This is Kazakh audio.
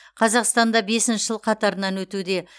қазақстанда бесінші жыл қатарынан өтуде